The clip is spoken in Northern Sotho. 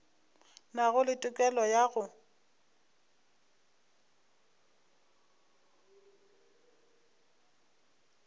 nago le tokelo ya go